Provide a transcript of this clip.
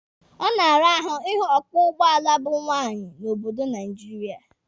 Ọ na-ara ahụ ịhụ ọkwọ ụgbọala bụ nwaanyị n'obodo Naijiria.